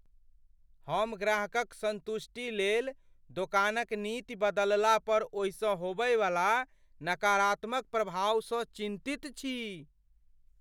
हम ग्राहकक संतुष्टिलेल दोकानक नीति बदलला पर ओहिसँ होबयवला नकारात्मक प्रभावसँ चिन्तित छी।